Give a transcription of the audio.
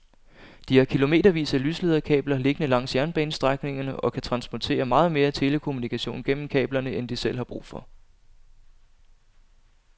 De har kilometervis af lyslederkabler liggende langs jernbanestrækningerne og kan transportere meget mere telekommunikation gennem kablerne end de selv har brug for.